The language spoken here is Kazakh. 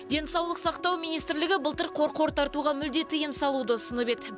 денсаулық сақтау министрлігі былтыр қорқор тартуға мүлде тыйым салуды ұсынып еді